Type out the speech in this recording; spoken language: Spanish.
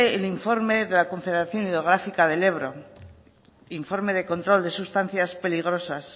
el informe de la confederación hidrográfica del ebro informe de control de sustancias peligrosas